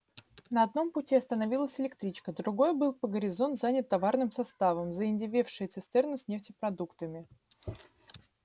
на одном пути остановилась электричка другой был по горизонт занят товарным составом заиндевевшие цистерны с нефтепродуктами